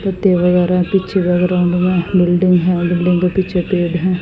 पीछे के बैकग्राउंड में बिल्डिंग है बिल्डिंग के पीछे पेड़ है।